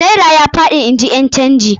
Naira fa ya faɗi, in ji ƴan canji.